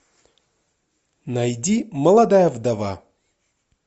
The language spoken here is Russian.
найди молодая вдова